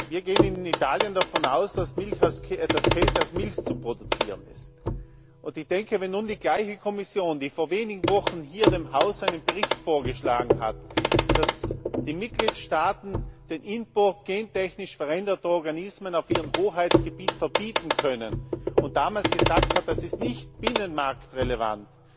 Wir gehen in Italien davon aus, dass Käse aus Milch zu produzieren ist. Wenn nun die gleiche Kommission, die vor wenigen Wochen hier dem Haus einen Bericht vorgeschlagen hat, damit die Mitgliedstaaten den Import gentechnisch veränderter Organismen auf ihrem Hoheitsgebiet verbieten können, und damals gesagt hat, das ist nicht binnenmarktrelevant,